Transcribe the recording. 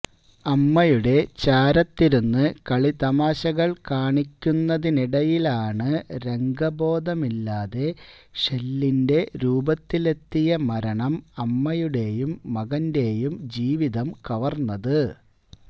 അമ്മയുടെ ചാരത്തിരുന്ന് കളിതമാശകള് കാണിക്കുന്നതിനിടയിലാണ് രംഗബോധമില്ലാതെ ഷെല്ലിന്റെ രൂപത്തിലെത്തിയ മരണം അമ്മയുടേയും മകന്റേയും ജീവിതം കവര്ന്നത്